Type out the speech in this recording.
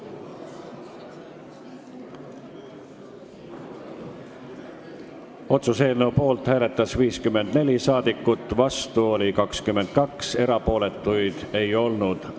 Hääletustulemused Poolt hääletas 54 rahvasaadikut, vastu oli 22, erapooletuks ei jäänud keegi.